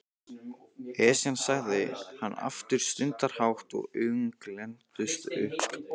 Esjan sagði hann aftur stundarhátt og augun glenntust upp.